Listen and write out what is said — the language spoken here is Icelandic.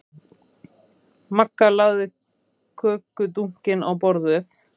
Magga lagði kökudunkinn á borðið.